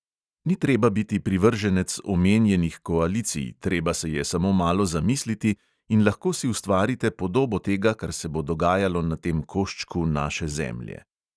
Ni treba biti privrženec omenjenih koalicij, treba se je samo malo zamisliti, in lahko si ustvarite podobo tega, kar se bo dogajalo na tem koščku naše zemlje.